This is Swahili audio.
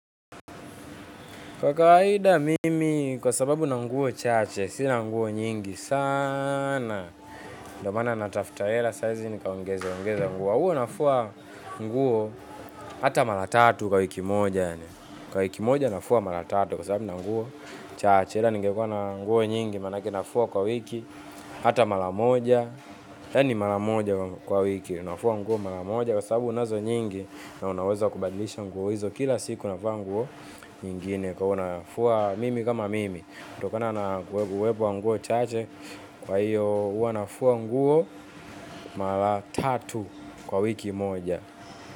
Kwa kawaida mimi, kwa sababu ninanguo chache, sina nguo nyingi sana. Ndio maana natafuta hela sahizi nikaongezeongeze nguo. Huwa nafua nguo hata mara tatu kwa wiki moja. Kwa wiki moja nafua mara tatu kwa sababu ninanguo chache. Kamw ningekuwa na nguo nyingi, manake nafua kwa wiki, hata mara moja. Yani mara moja kwa wiki, nafua nguo mara moja. Kwa sababu unazo nyingi na unaweza kubandilisha nguo hizo kila siku navaa nguo nyingine. Huwanafua mimi kama mimi. Kutokana na uwepo wa nguo chache. Kwa hiyo huwanafua nguo. Mara tatu kwa wiki moja.